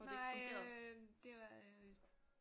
Nej øh det var øh